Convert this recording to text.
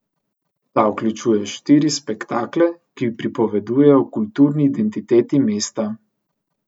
Ta vključuje štiri spektakle, ki pripovedujejo o kulturni identiteti mesta.